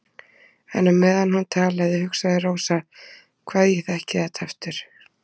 En á meðan hún talaði hugsaði Rósa: Hvað ég þekki þetta aftur.